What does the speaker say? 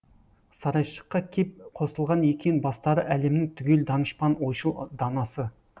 сарайшыққа кеп қосылған екен бастары әлемнің түгел данышпан ойшыл данасы